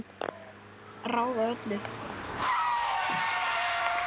Ráða öllu?